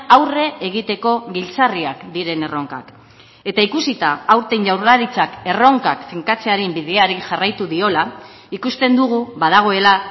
aurre egiteko giltzarriak diren erronkak eta ikusita aurten jaurlaritzak erronkak finkatzearen bideari jarraitu diola ikusten dugu badagoela